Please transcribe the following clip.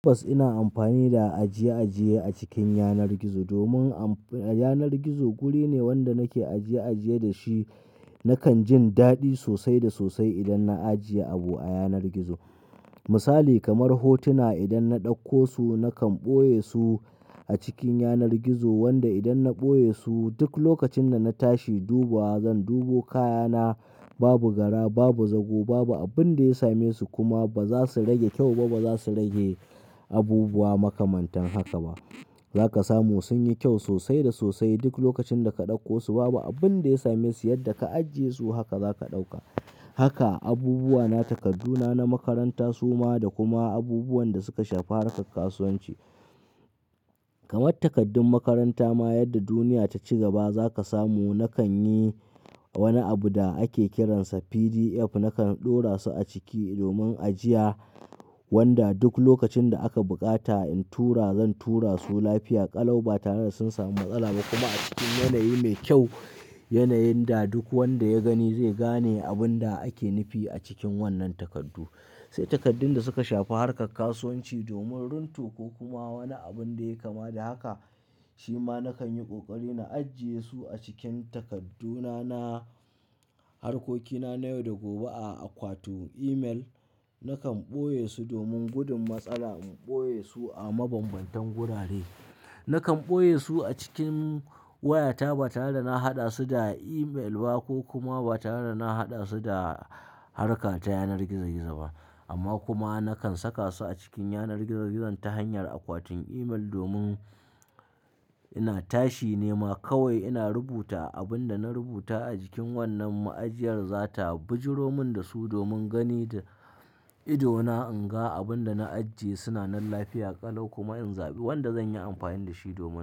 Tabbas ina amfani da ajiye-ajiye a cikin yanar gizo domin amf-- yanar gizo guri ne wanda nake ajiye-ajiye da shi. Nakan jin daɗi sosai da sosai idan na ajiye abu a yanar gizo. Misali kamar hotuna idan na ɗauko su nakan ɓoye su a cikin yanar gizo wanda idan na ɓoye su duk lokacin da na tashi dubuwa zan dubo kayana babu gara, babu zago, babu abin da ya same su kuma ba za su rage kyau ba, ba za su rage abubuwa makamantan haka ba. Za ka samu sun yi kyau sosai da sosai duk lokacin da ka ɗauko su babu abun da ya same su yadda ka ajiye su haka za ka ɗauka. Haka abubuwa na, takadduna na makaranta su ma da kuma abubuwan da suka shafi harkar kasuwanci. Kamar takaddun makaranta ma yadda duniya ta ci gaba za ka samu nakan yi wani abu da ake kiransa PDF nakan ɗora su a ciki domin ajiya wanda duk lokacin da aka bukata in tura zan tura su lafiya ƙalau ba tare da sun samu matsala ba kuma a cikin yanayi mai kyau. Yanayin da duk wanda ya gani zai gane abun da ake nufi a cikin wannan takardu. Sai takardun da suka shafi harkar kasuwanci domin runto ko kuma wani abun da ya kama da haka, shi ma nakan yi ƙoƙari na ajiye su a cikin takadduna na harkokina na yau da gobe a akwatin email. Nakan ɓoye su domin gudun matsala in ɓoye su a mabanbantan wurare. Nakan ɓoye su a cikin wayata ba tare da na haɗa su da email ba ko kuma ba tare da na haɗa su da harka ta yanar gizo-gizo ba. Amma kuma nakan saka su a cikin yanar gizo-gizon ta hanyar akwatin email domin ina tashi nema kawai ina rubuta abun da na rubuta a jikin wannan ma'ajiyar za ta bijiromun da su domin gani da idona in ga abun da na ajiye suna nan lafiya ƙalau kuma in zaɓi wanda zan yi amfani da shi domin.